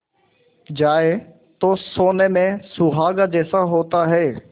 जाए तो सोने में सुहागा जैसा होता है